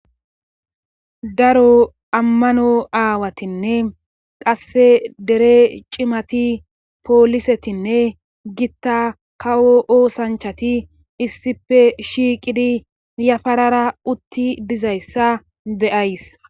Daro ammano aawatinne qasse dere cimati poolisetinne gitta kawo oosanchati issife shiiqidi yafarara utti dizayssa beyays.